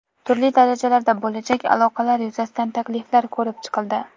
Turli darajalarda bo‘lajak aloqalar yuzasidan takliflar ko‘rib chiqildi.